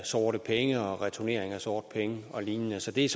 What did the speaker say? sorte penge og returnering af sorte penge og lignende så det er